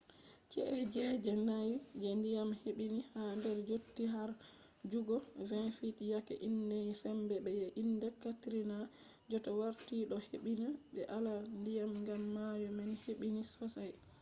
chi’e je je-nayi je ndiyam hebbini ha nder yotti har jutugo 20 fit yake iyende sembe je ɓe indi katrina jotta warti ɗo hebbini be alama ndiyam gam mayo man hebbini sosai